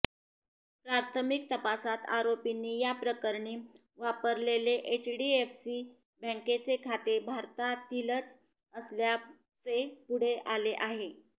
प्राथमिक तपासात आरोपींनी या प्रकरणी वापरलेले एचडीएफसी बँकेचे खाते भारतातीलच असल्याचे पुढे आले आहे